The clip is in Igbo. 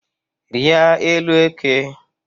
Rịa élú eke